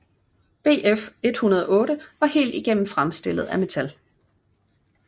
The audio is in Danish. Bf 108 var helt igennem fremstillet af metal